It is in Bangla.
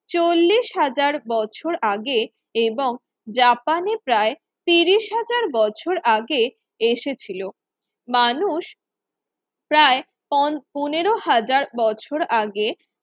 চল্লিশ হাজার বছর আগে এবং জাপানে প্রায় তিরিশ হাজার বছর আগে এসেছিল মানুষ প্রায় পনেরো হাজার বছর আগে